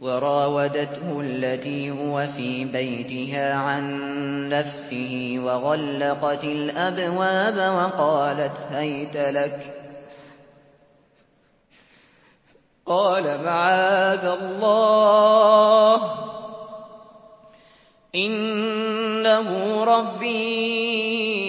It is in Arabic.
وَرَاوَدَتْهُ الَّتِي هُوَ فِي بَيْتِهَا عَن نَّفْسِهِ وَغَلَّقَتِ الْأَبْوَابَ وَقَالَتْ هَيْتَ لَكَ ۚ قَالَ مَعَاذَ اللَّهِ ۖ إِنَّهُ رَبِّي